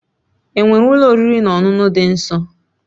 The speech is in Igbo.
Enwere Ụlọ oriri na ọṅụṅụ dị nso